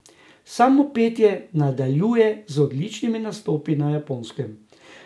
Samo Petje nadaljuje z odličnimi nastopi na Japonskem.